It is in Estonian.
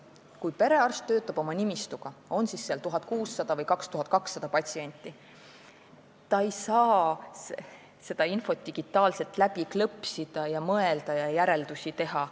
Kui perearst töötab oma nimistuga, on seal siis 1600 või 2200 patsienti, ei saa ta infot digitaalselt läbi klõpsida ning mõelda ja järeldusi teha.